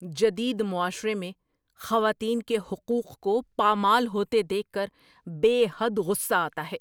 جدید معاشرے میں خواتین کے حقوق کو پامال ہوتے دیکھ کر بے حد غصہ آتا ہے۔